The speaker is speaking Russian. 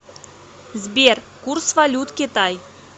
сбер курс валют китай